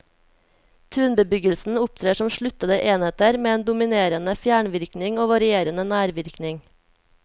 Tunbebyggelsen opptrer som sluttede enheter med en dominerende fjernvirkning og varierende nærvirkning.